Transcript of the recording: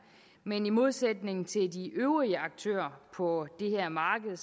men i modsætning til de øvrige aktører på det her marked